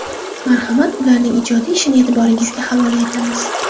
Marhamat, ularning ijodiy ishini e’tiboringizga havola etamiz.